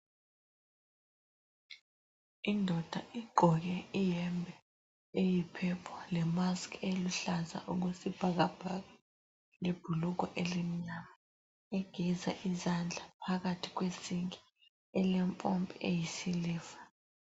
Indoda igqoke iyembe eyiphephu lemaski eluhlaza okwesibhakabhaka lebhulugwe elimnyama. Igeza izandla phakathi kwesinki elempompi eyisiliva.